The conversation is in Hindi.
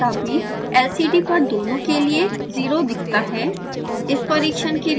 तथापि lcd पर दोनों के लिए 0 दिखता है